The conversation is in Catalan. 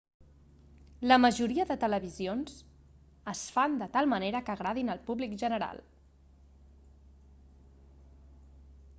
la majoria de televisions es fan de tal manera que agradin al públic general